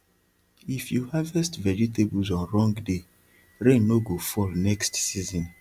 if you harvest vegetables on wrong day rain no go fall next season